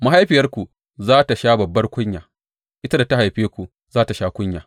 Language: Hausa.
Mahaifiyarku za tă sha babbar kunya; ita da ta haife ku za tă sha kunya.